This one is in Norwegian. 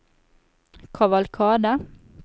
kavalkade